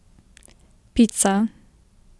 Pica!